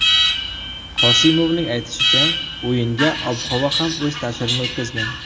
Qosimovning aytishicha, o‘yinga ob-havo ham o‘z ta’sirini o‘tkazgan.